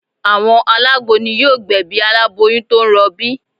Àwọn alágbo ni yóò gbẹ̀bí aláboyún tó ń rọbí